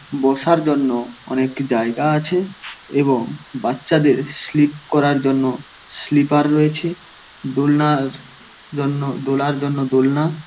বসার জন্য অনেক জায়গা আছে এবং বাচ্চাদের স্লিপ করার জন্য স্লিপার রয়েছে দোলনার জন্য দোলার জন্য দোলনা --